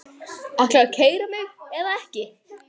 Ætlarðu að keyra mig eða ekki?